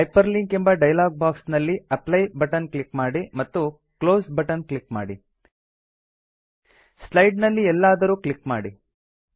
hyperlink ಎಂಬ dialog box ನಲ್ಲಿ apply button click ಮಾಡಿ ಮತ್ತು ಕ್ಲೋಸ್ ಬಟನ್ ಕ್ಲಿಕ್ ಮಾಡಿ ಸ್ಲೈಡ್ ನಲ್ಲಿ ಎಲ್ಲಾದರೂ ಕ್ಲಿಕ್ ಮಾಡಿ